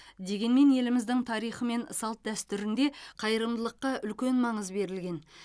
дегенмен еліміздің тарихы мен салт дәстүрінде қайырымдылыққа үлкен маңыз берілген